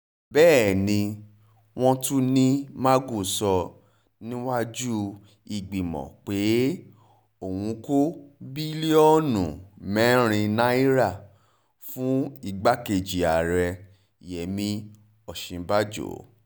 bẹ́ẹ̀ ni wọ́n tún ní magu sọ níwájú ìgbìmọ̀ pé òun kó bílíọ̀nù mẹ́rin náírà fún igbákejì ààrẹ yẹmi òsínbàjọ